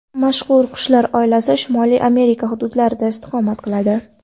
Mazkur qushlar oilasi Shimoliy Amerika hududlarida istiqomat qiladi.